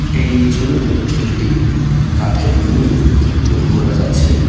এই ছবিতে একটি কাঠের মিল লক্ষ করা যাচ্ছে।